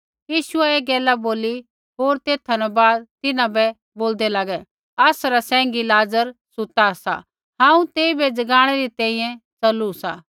यीशुऐ ऐ गैला बोली होर तेथा न बाद तिन्हां बै बोल्दै लागै आसरा सैंघी लाज़र सुता सा हांऊँ तेइबै जगाणै री तैंईंयैं च़लू सा